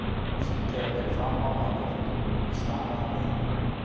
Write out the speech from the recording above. Sýnt hefur verið fram á, að vörtur í húð stafa af veirum.